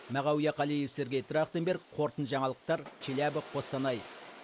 мағауия қалиев сергей трахтенберг қорытынды жаңалықтар челябы қостанай